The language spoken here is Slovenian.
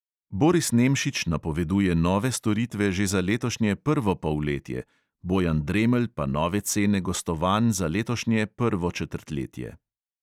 Boris nemšić napoveduje nove storitve že za letošnje prvo polletje, bojan dremelj pa nove cene gostovanj za letošnje prvo četrtletje.